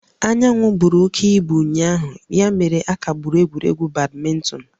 Anyanwụ buru oke ibu ụnyaahụ ya mere a kagburu egwuregwu badminton